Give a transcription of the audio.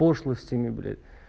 пошлостями бля